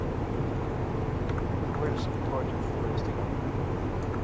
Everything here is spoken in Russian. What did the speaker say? уэльс против вест хэм